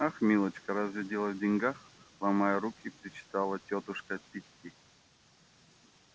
ах милочка разве дело в деньгах ломая руки причитала тётушка питти